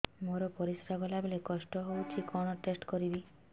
ମୋର ପରିସ୍ରା ଗଲାବେଳେ କଷ୍ଟ ହଉଚି କଣ ଟେଷ୍ଟ କରିବି